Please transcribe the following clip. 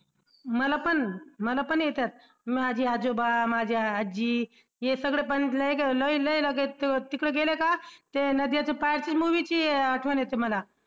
मलापण मलापण येत्यात माझे आजोबा माझी आजी ये सागडेपण लई लई लगेच तिकडे गेले का ते नदियां के पार च्या movie ची आठवण येते मला.